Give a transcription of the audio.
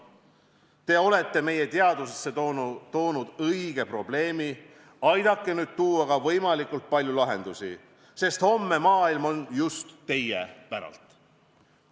Te olete meie teadusesse toonud õige probleemi, aidake nüüd luua ka võimalikult palju lahendusi, sest homne maailm on just teie päralt.